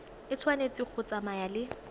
e tshwanetse go tsamaya le